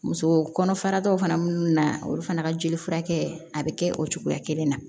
Muso kɔnɔfarakɛw fana minnu na olu fana ka jeli furakɛ a bɛ kɛ o cogoya kelen na